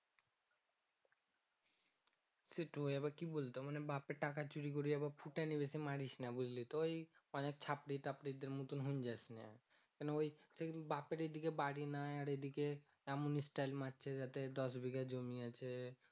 সেতুই আবার কি বলতো বাপের টাকা চুরি করে আবার ফুটানি বেশি মারিস না বুঝলি তো মানে অনেক ছাপরি তাপরি দের মতো হয়েযাস না মানে ওই সেই বাপের এই দিকে বাড়ি নাই আর এই দিকে এমন stayel মারছে যাতে দশ বিঘা জমি আছে